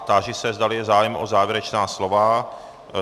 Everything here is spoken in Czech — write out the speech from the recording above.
Táži se, zdali je zájem o závěrečná slova?